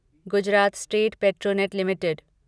Gujarat state Petronet limited